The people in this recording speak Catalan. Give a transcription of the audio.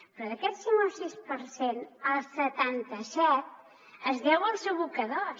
però d’aquest cinc o sis per cent el setanta set es deu als abocadors